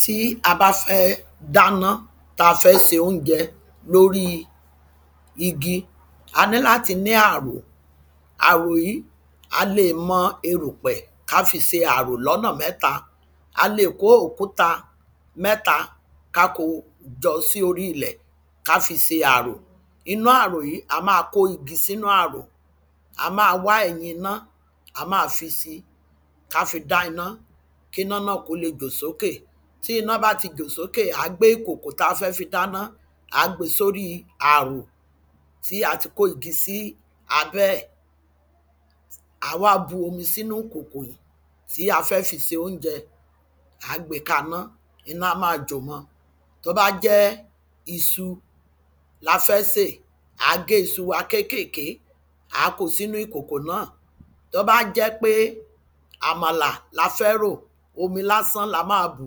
Tí a bá fẹ́ dáná tí a fẹ́ se óunjẹ lorí igi a ní láti ní ààrò Ààrò yìí á lè mọ erùpẹ̀ kí á fi ṣe ààrò ní ọ̀nà mẹ́ta A lè kó òkúta mẹ́ta kí á ko jọ sí orí ilẹ̀ kí á fi ṣe ààrò Iná ààrò yìí a máa kó igi sínú ààrò A máa wa ẹ̀yin iná a máa fisi kí a fi dá iná kí iná náà kí ó lè jò sókè Tí iná bá tí jò sókè à á gbé ìkòkò tí a fẹ́ fi dá iná à á gbe sí orí ààrò tí a tí kó igi sí abẹ́ ẹ̀ À á wá bu omi sínú ìkòkò yìí tí a fẹ́ fi se óunjẹ À á gbe kaná Iná á máa jò mọ Tí ó bá jẹ́ iṣu ni a fẹ́ sè à á gé iṣu wa kékèké À á kó sínú ìkòkò náà Tí ó bá jẹ́ pé àmàlà ni a fẹ́ rò omi lásán ni a máa bù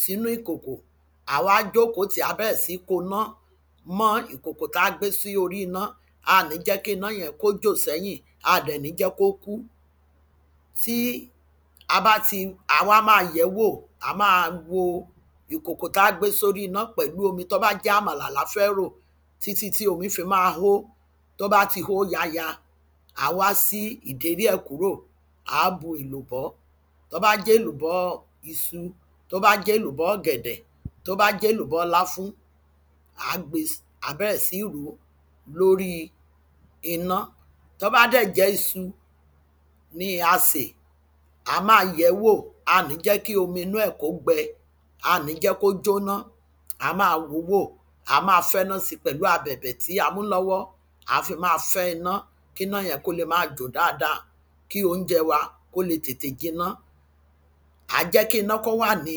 sínú ìkòkò À á wá jókòó tì í a bẹ̀rẹ̀ sí ń konà mọ́ ìkòkò tí a gbé sí orí iná A à ní jẹ́ kí iná yẹn kí ó jò sẹ́yìn À à dẹ̀ ní jẹ́ kí ó kú Tí a bá ti à á wá máa yẹ̀ ẹ́ wò À á máa wo ìkòkò tí a gbé sórí iná pẹ̀lú omi tí o bá jẹ́ àmàlà ni a fẹ́ rò títí tí omi fi máa hó Tí ó bá tí hó yaya à á wá ṣí ìdérí ẹ̀ kúrò À á bu èlùbọ́ Tí o bá jẹ́ èlùbọ́ iṣu tí o bá jẹ́ èlùbọ́ ọ̀gẹ̀dẹ̀ tí o bá jẹ́ èlùbọ́ láfún à á gbe si À á bẹ̀rẹ̀ sí ń rò ó lorí iná Tí ó bá dẹ̀ jẹ́ iṣu ni a sè à á máa yẹ̀ ẹ́ wò A à ní jẹ́ kí omi inú ẹ̀ kí ó gbẹ A à ní jẹ́ kí ó jóná A á máa wò ó wò À á máa fẹ́nási pẹ̀lú abẹ̀bẹ̀ tí a mú lọ́wọ́ À á fi máa fẹ́ iná kí iná yẹn kí ó lè máa jò dáadáa kí óunjẹ wa kí ó lè tètè jiná À á jẹ́ kí iná kí ó wà ní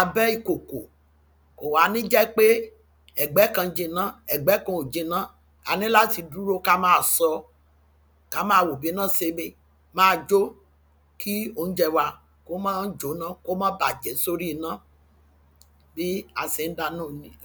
abẹ́ ìkòkò Kò wá ní jẹ́ pé ẹ̀gbẹ̀ kan jiná ẹ̀gbẹ̀ kan ò jiná A níláti dúro kí a máa ṣọ ọ Kí a máa wo bí iná ṣe lè máa jò kí óunjẹ wa kí ó má jóná kí ó má bàjẹ́ sí ori iná Bí a ṣe ń dáná ọ̀hún nìyẹn